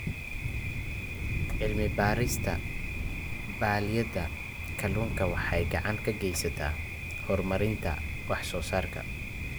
Cilmi-baarista balliyada kalluunka waxay gacan ka geysataa horumarinta wax-soo-saarka.